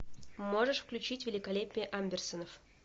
можешь включить великолепие амберсонов